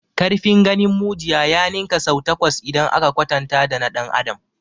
Ƙarfin ganin mujiya ya ninka sau takwas idan aka kwatanta dana ɗan adam.